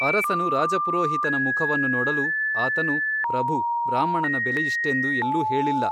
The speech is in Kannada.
ಅರಸನು ರಾಜಪುರೋಹಿತನ ಮುಖವನ್ನು ನೋಡಲು ಆತನು ಪ್ರಭು ಬ್ರಾಹ್ಮಣನ ಬೆಲೆಯಿಷ್ಟೆಂದು ಎಲ್ಲೂ ಹೇಳಿಲ್ಲ.